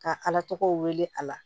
Ka ala tɔgɔw wele a la